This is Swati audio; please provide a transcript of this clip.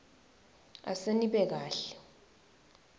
ase nibe kahle